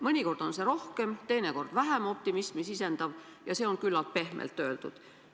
Mõnikord on see rohkem, teinekord vähem optimismi sisendav, ja see on küllalt pehmelt öeldud.